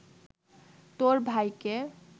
তোর ভাইকে